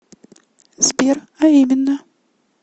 сбер а именно